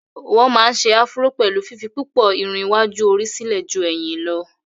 wọ́n má ń se afuró pẹ̀lú fífi púpọ̀ Irun iwájú orí sílẹ̀ jú ẹ̀yìn lọ́